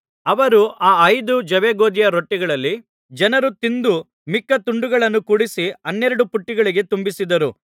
ಅವರು ಆ ಐದು ಜವೆಗೋದಿಯ ರೊಟ್ಟಿಗಳಲ್ಲಿ ಜನರು ತಿಂದು ಮಿಕ್ಕ ತುಂಡುಗಳನ್ನು ಕೂಡಿಸಿ ಹನ್ನೆರಡು ಪುಟ್ಟಿಗಳಿಗೆ ತುಂಬಿಸಿದರು